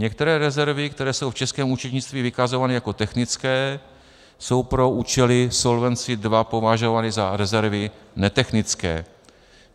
Některé rezervy, které jsou v českém účetnictví vykazovány jako technické, jsou pro účely Solvency II považovány za rezervy netechnické.